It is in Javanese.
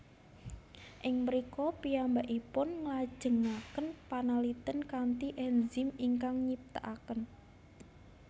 Ing mrika piyambakipun nglajengaken panalitén kanthi enzim ingkang nyiptakaken